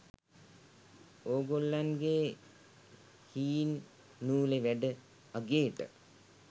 ඕගොල්ලන්ගෙ හීන් නූලෙ වැඩ අගේට